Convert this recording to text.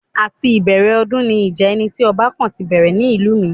Àti ìbẹ̀rẹ̀ ọdún ni ìjà ẹni tí ọba kàn ti bẹ̀rẹ̀ ní ìlú mi